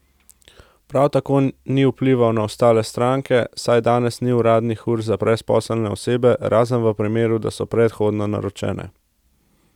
Prav tako ni vplival na ostale stranke, saj danes ni uradnih ur za brezposelne osebe, razen v primeru, da so predhodno naročene.